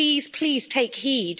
Please, please take heed.